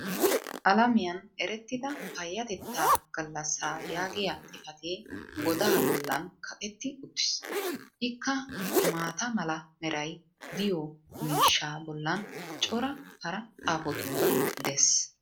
alamiyan erettida payatettaa galassaa yaagiya xifatee godaa bolan kaqetti uttiis. ikka maata mala meray diyo miishshaa bolan cora hara xaafotuura des.